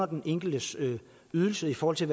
den enkeltes ydelse i forhold til